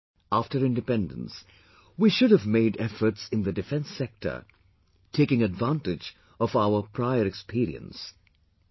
After independence, we should have made efforts in the defence sector, taking advantage of our prior experience...